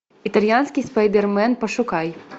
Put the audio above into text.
итальянский спайдермен пошукай